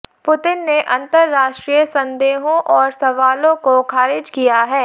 Putin ने अंतरराष्ट्रीय संदेहों और सवालों को खारिज किया है